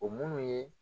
O munnu ye